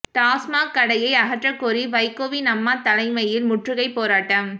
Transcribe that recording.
டாஸ்மாக் கடையை அகற்றக் கோரி வைகோவின் அம்மா தலைமையில் முற்றுகைப் போராட்டம்